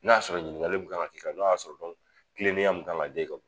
N'a y'a sɔrɔ ɲininkali min kan ka kɛ ,n'a y'a sɔrɔ ko tilenenya min kan ka da i kan.